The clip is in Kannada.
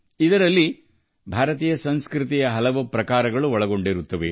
ಇದು ಭಾರತೀಯ ಸಂಸ್ಕೃತಿಯ ಅಸಂಖ್ಯಾತ ಛಾಯೆಗಳನ್ನು ಒಳಗೊಂಡಿದೆ